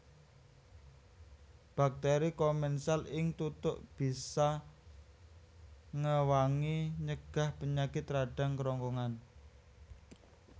Bakteri komensal ing tutuk bisa ngewangi nyegah penyakit radang krongkongan